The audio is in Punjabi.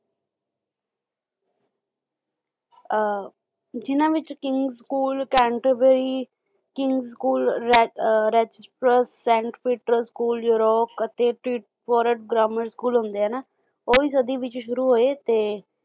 ਅਹ ਜਿੰਨਾ ਵਿੱਚ ਕਿੰਗ school ਕੈਂਠਵਈ king school saint Peter's school Europe ਅਤੇ ਟਰੀਟ ਪੋਰਟ ਬ੍ਰਾਹਮਣ school ਹੁੰਦੇ ਹਨਾਂ ਓਹੀ ਸਦੀ ਵਿੱਚ ਸ਼ੁਰੂ ਹੋਏ ਤੇ